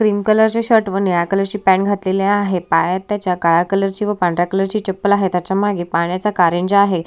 Cream colour चे shirt व निळ्या कलर ची पैंट घातलेली आहे पायात त्याच्या काळ्या कलर ची व पांढऱ्या कलर ची चप्पल आहे त्याच्या मागे पाण्याचा कारंजे आहे.